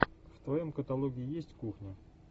в твоем каталоге есть кухня